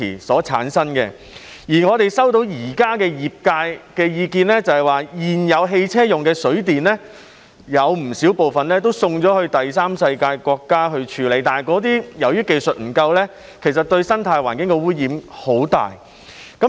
我們現時收到業界的意見反映，指現時汽車用的"水電"有不少部分會送到第三世界國家處理，但由於當地技術不足，對生態環境造成很大污染。